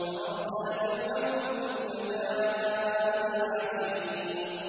فَأَرْسَلَ فِرْعَوْنُ فِي الْمَدَائِنِ حَاشِرِينَ